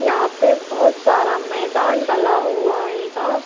यहाँ पे बहोत सारा मैदान डला हुआ आयेगा।